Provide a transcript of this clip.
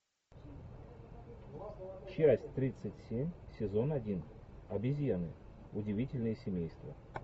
часть тридцать семь сезон один обезьяны удивительное семейство